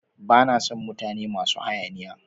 Ba na sn mutane masu hayaniya.